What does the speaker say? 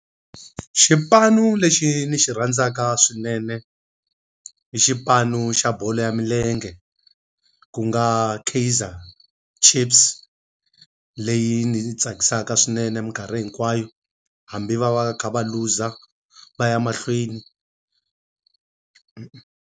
Xipanu lexi ni xi rhandzaka swinene, i xipano xa bolo ya milenge ku nga Kaizer Chiefs. Leyi ni tsakisaka swinene minkarhi hinkwayo, hambi va va kha va looser va ya mahlweni.